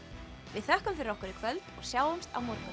við þökkum fyrir okkur í kvöld og sjáumst á morgun